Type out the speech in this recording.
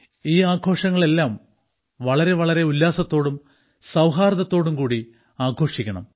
ഈ ആഘോഷങ്ങളെല്ലാം വളരെ വളരെ ഉല്ലാസത്തോടും സൌഹാർദ്ദത്തോടും കൂടി ആഘോഷിക്കണം